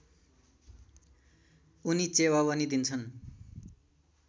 उनी चेवावनी दिन्छन्